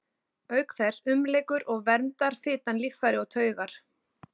Auk þess umlykur og verndar fitan líffæri og taugar.